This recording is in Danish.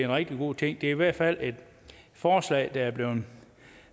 rigtig god ting det er i hvert fald et forslag der er blevet